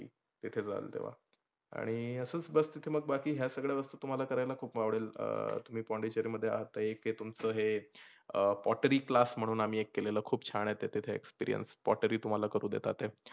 तिथे जाल तेव्हा. आणि असचं बस तिथ मग बाकी या सगळ्या वस्तू तुम्हाला खुप आपडेल. अं तुम्ही पोंडीचेरीला आहात एक हे तुमचं हे अह pottery class म्हणून आम्ही एक केलेलं खुप छान आहे तिथं experience pottery तुम्हाला करूण देतात.